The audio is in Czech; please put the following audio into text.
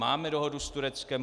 Máme dohodu s Tureckem.